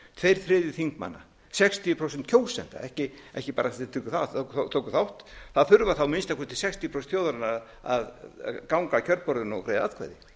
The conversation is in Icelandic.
tveir þriðju þingmanna sextíu prósent kjósenda ekki bara þeir sem tóku þátt það þurfa þá að minnsta kosti sextíu prósent þjóðarinnar að ganga að kjörborðinu og greiða atkvæði